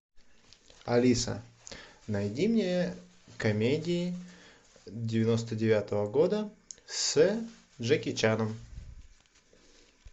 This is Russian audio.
алиса найди мне комедии девяносто девятого года с джеки чаном